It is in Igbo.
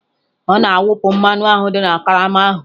Ọ na-awụpụ mmanụ ahụ dị na karama ahụ.